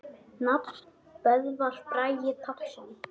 Nafn: Böðvar Bragi Pálsson